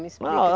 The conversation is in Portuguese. Me explica.